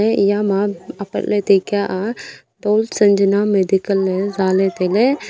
eya ma apat le taikya ah pol sanjana medical le jale taile.